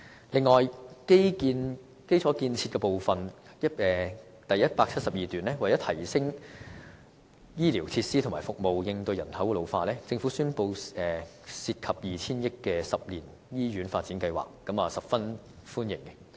此外，有關基礎建設部分，在第172段指出，為提升醫療設施和服務並應對人口老化，政府宣布一個涉及 2,000 億元的10年醫院發展計劃，我便是十分歡迎的。